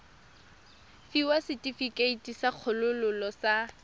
fiwa setefikeiti sa kgololo sa